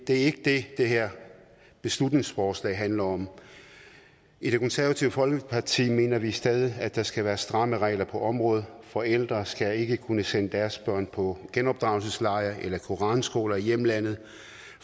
er ikke det det her beslutningsforslag handler om i det konservative folkeparti mener vi stadig at der skal være stramme regler på området forældre skal ikke kunne sende deres børn på genopdragelsesrejser eller koranskoler i hjemlandet